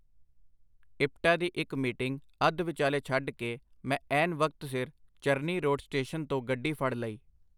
ਇਪਟਾ ਦੀ ਇਕ ਮੀਟਿੰਗ ਅਧ-ਵਿਚਾਲੇ ਛਡ ਕੇ ਮੈਂ ਐਨ ਵਕਤ ਸਿਰ ਚਰਨੀ ਰੋਡ ਸਟੇਸ਼ਨ ਤੋਂ ਗੱਡੀ ਫੜ ਲਈ.